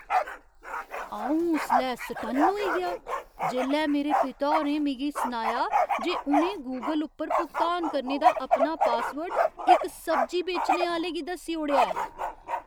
अंऊ उसलै सटन्न होई गेआ जेल्लै मेरे पिता होरें मिगी सनाया जे उ'नें गूगल उप्पर भुगतान करने दा अपना पासवर्ड इक सब्जी बेचने आह्‌ले गी दस्सी ओड़ेआ ऐ ।